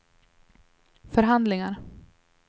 förhandlingar